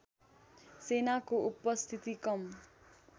सेनाको उपस्थिति कम